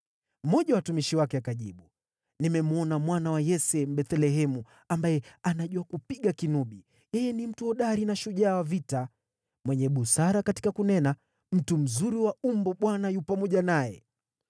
Mmoja wa watumishi wake akajibu, “Nimemwona mwana wa Yese Mbethlehemu ambaye anajua kupiga kinubi. Yeye ni mtu hodari na shujaa wa vita. Ni mwenye busara katika kunena, mtu mzuri wa umbo. Bwana yu pamoja naye.”